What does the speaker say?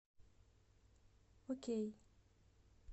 окей